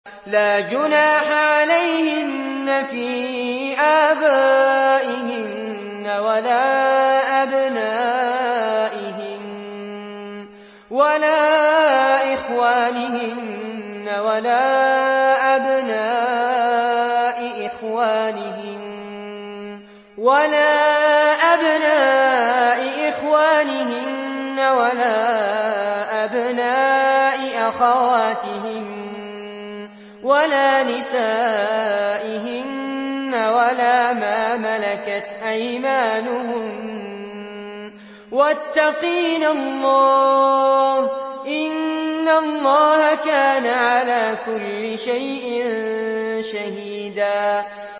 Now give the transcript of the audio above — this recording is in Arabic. لَّا جُنَاحَ عَلَيْهِنَّ فِي آبَائِهِنَّ وَلَا أَبْنَائِهِنَّ وَلَا إِخْوَانِهِنَّ وَلَا أَبْنَاءِ إِخْوَانِهِنَّ وَلَا أَبْنَاءِ أَخَوَاتِهِنَّ وَلَا نِسَائِهِنَّ وَلَا مَا مَلَكَتْ أَيْمَانُهُنَّ ۗ وَاتَّقِينَ اللَّهَ ۚ إِنَّ اللَّهَ كَانَ عَلَىٰ كُلِّ شَيْءٍ شَهِيدًا